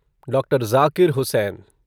doctor Zakir Hussain